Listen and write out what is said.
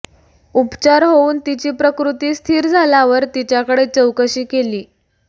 उपचार होऊन तिची प्रकृती स्थिर झाल्यावर तिच्याकडे चौकशी केली